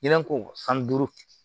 Ɲinɛ ko san duuru